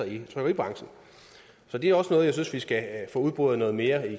i trykkeribranchen så det er også noget jeg synes vi skal få udboret noget mere i